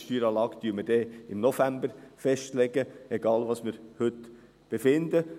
Die Steueranlage legen wir dann im November fest, egal, was wir hier befinden.